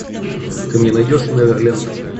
ты мне найдешь неверленд